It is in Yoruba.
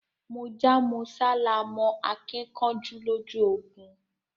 Mọ́já mọ́sá làá mọ akíkanjú lójú ogun